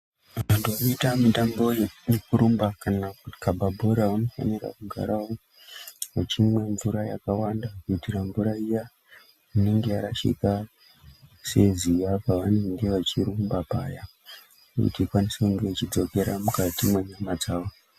Vanhu vanoita mitambo yekurumba kana kukhaba bhora vanofanira kugara vachimwa mvura yakawanda kuitira mvura iya inenge yarashika seziya pavanenge vachirumba paya kuti ikwanise kuchidzokera mukati mwenyama dzawo.